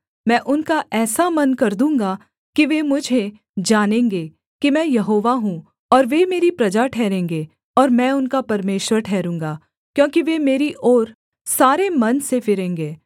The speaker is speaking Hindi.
मैं उनका ऐसा मन कर दूँगा कि वे मुझे जानेंगे कि मैं यहोवा हूँ और वे मेरी प्रजा ठहरेंगे और मैं उनका परमेश्वर ठहरूँगा क्योंकि वे मेरी ओर सारे मन से फिरेंगे